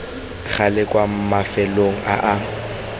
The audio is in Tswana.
gale kwa mafelong a a